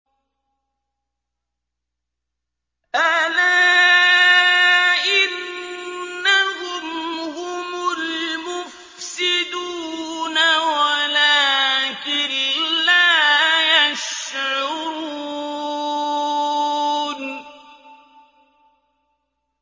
أَلَا إِنَّهُمْ هُمُ الْمُفْسِدُونَ وَلَٰكِن لَّا يَشْعُرُونَ